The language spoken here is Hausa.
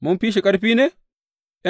Mun fi shi ƙarfi ne?